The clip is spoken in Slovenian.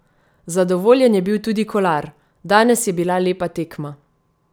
Zadovoljen je bil tudi Kolar: "Danes je bila lepa tekma.